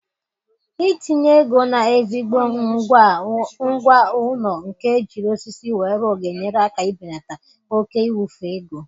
Itinye ego na ezigbo ngwá ụlọ nke ejiri osisi wee rụọ ga-enyere aka ịbelata oke ịwufu ego